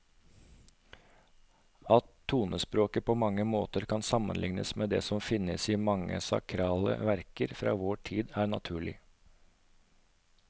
At tonespråket på mange måter kan sammenlignes med det som finnes i mange sakrale verker fra vår tid, er naturlig.